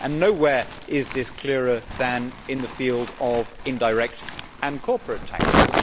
Nowhere is this clearer than in the field of indirect and corporate taxes.